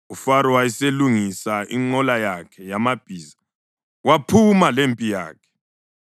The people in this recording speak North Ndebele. UFaro waselungisa inqola yakhe yamabhiza waphuma lempi yakhe.